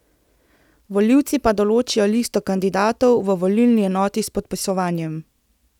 Volivci pa določijo listo kandidatov v volilni enoti s podpisovanjem.